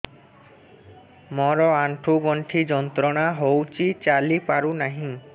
ମୋରୋ ଆଣ୍ଠୁଗଣ୍ଠି ଯନ୍ତ୍ରଣା ହଉଚି ଚାଲିପାରୁନାହିଁ